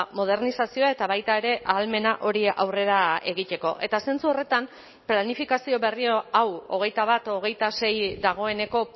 modernizazioa eta baita ere ahalmena hori aurrera egiteko eta zentzu horretan planifikazio berria hau hogeita bat hogeita sei dagoeneko